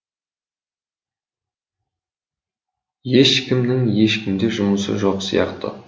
ешкімнің ешкімде жұмысы жоқ сияқты